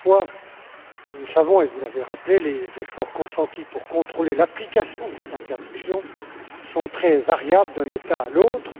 Toutefois, nous savons et vous l'avez rappelé que les efforts consentis pour contrôler l'application de cette interdiction sont très variables d'un État à l'autre.